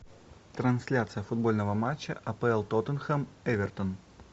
трансляция футбольного матча апл тоттенхэм эвертон